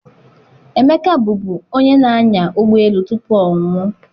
Emeka bụbu onye na-anya ụgbọ elu tupu ọ nwụọ